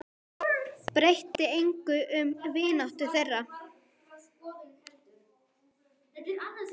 Breytti engu um vináttu þeirra.